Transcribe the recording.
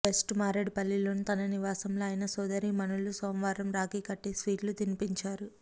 west మారేడ్ పల్లిలోని తన నివాసంలో ఆయన సోదరీమణులు సోమవారం రాఖీ కట్టి స్వీట్లు తినిపించారు